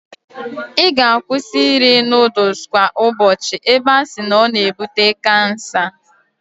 I ga-akwụsi iri nudul kwa ubochi ebe a si na o na-ebute kansa.